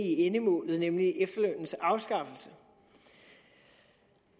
i endemålet nemlig efterlønnens afskaffelse